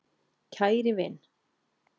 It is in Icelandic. KÆRI vin.